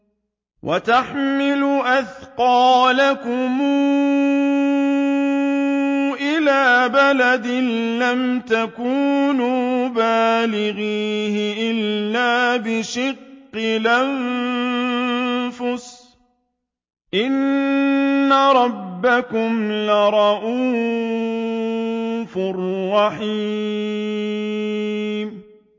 وَتَحْمِلُ أَثْقَالَكُمْ إِلَىٰ بَلَدٍ لَّمْ تَكُونُوا بَالِغِيهِ إِلَّا بِشِقِّ الْأَنفُسِ ۚ إِنَّ رَبَّكُمْ لَرَءُوفٌ رَّحِيمٌ